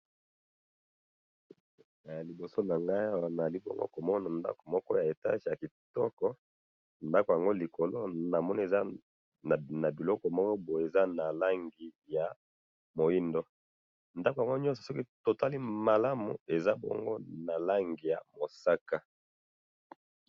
Liboso nanga nazakomona ndako moko ya etage yakitoko, ndako yango likolo namoni eza nabiloko moko boye eza nalangi ya mwindo, ndako yango nyonso soki totali malamu ezabongo nalangi ya mosaka.